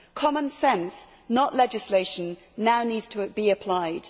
Common sense, not legislation, now needs to be applied.